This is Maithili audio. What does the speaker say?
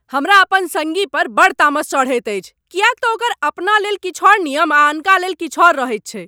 हमरा अपन सङ्गी पर बड़ तामस चढ़ैत अछि किएक तँ ओकर अपनालेल किछु आओर नियम आ अनका लेल किछु आओर रहैत छैक।